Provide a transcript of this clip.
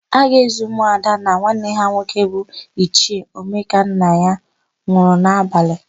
A ga-ézì ụmụada na nwanne ha nwoke bụ Ichie Omekanna nwụrụ n'abalị.